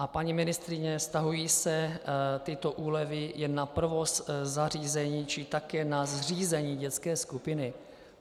A paní ministryně, vztahují se tyto úlevy jen na provoz zařízení, či také na zřízení dětské skupiny?